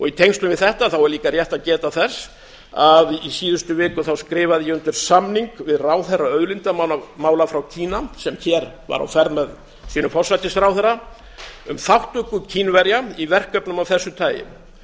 í tengslum við þetta er líka rétt að geta þess að í síðustu viku skrifaði ég undir samning við ráðherra auðlindamála frá kína sem hér var á ferð með sínum forsætisráðherra um þátttöku kínverja í verkefnum af þessu tagi